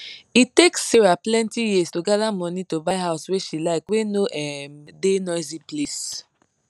e take sarah plenty years to gather money to buy house wey she like wey no um da noisy place